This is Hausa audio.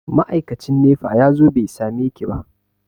Ma'aikacin nefa ya zo bai sameki ba.